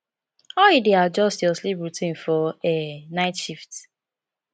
how you dey adjust your sleep routine for um night shifts